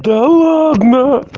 да ладно